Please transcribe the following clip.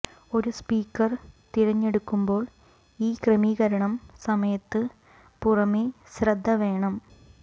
ഒരു സ്പീക്കർ തിരഞ്ഞെടുക്കുമ്പോൾ ഈ ക്രമീകരണം സമയത്ത് പുറമേ ശ്രദ്ധ വേണം